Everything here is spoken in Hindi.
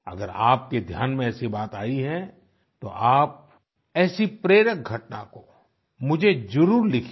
अगर आपके ध्यान में ऐसी बात आयी है तो आप ऐसी प्रेरक घटना को मुझे जरूर लिखिए